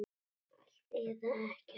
Allt eða ekkert.